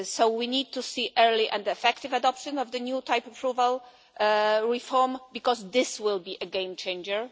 We need to see early and effective adoption of the new type approval reform, because this will be a game changer.